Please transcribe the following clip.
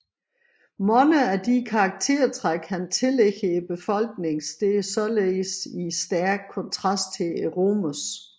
Mange af de karaktértræk han tillægger befolkningen står således i stæk kontrast til romernes